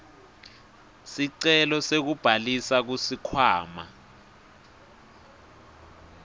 sicelo sekubhalisa kusikhwama